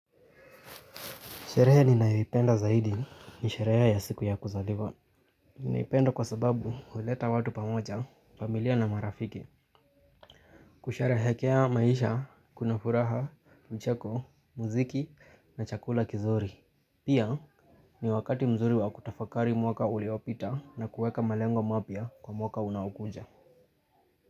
Sherehe ninayoipenda zaidi ni sherehe ya siku ya kuzaliwa. Ninaipenda kwa sababu huleta watu pamoja, familia na marafiki. Kusherehekea maisha, kuna furaha, mcheko, muziki na chakula kizuri. Pia ni wakati mzuri wa kutafakari mwaka uliopita na kueka malengo mapya kwa mwaka unaokuja.